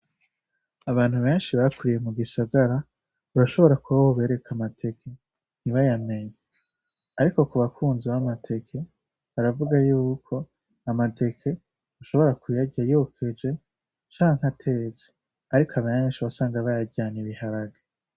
Abantu benshi bakuriye mu gisagara, urashobora kuba wobereka amateke ntibayamenye. Ariko ku bakunzi b'amateke, baravuga yuko amateke ushobora uyarya yokeje canke atetse, ariko benshi wasanga wasanga bayaryana ibiharage.